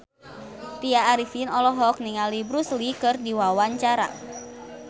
Tya Arifin olohok ningali Bruce Lee keur diwawancara